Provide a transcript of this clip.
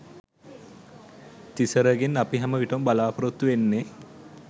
තිසරගෙන් අපි හැම විටම බලාපොරොත්තු වෙන්නෙ